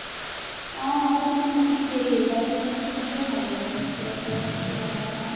অ but মোক হেৰি butter chicken তো হে ভাল লাগে যিতো বেচি butter যে বনোৱা হয়